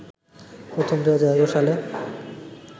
প্রথম ২০১১ সালে